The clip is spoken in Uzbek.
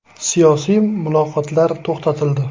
Siyosiy muloqotlar to‘xtatildi.